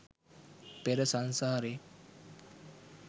පෙර සංසාරෙ